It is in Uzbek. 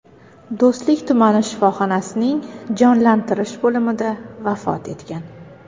Do‘stlik tumani shifoxonasining jonlantirish bo‘limida vafot etgan.